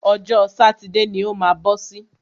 Ọjọ́ sátidé ni o má bọ́ sí.